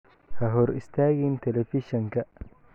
Ha hor istaagin telefishanka.